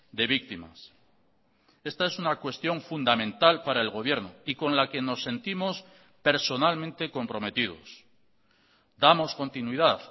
de víctimas esta es una cuestión fundamental para el gobierno y con la que nos sentimos personalmente comprometidos damos continuidad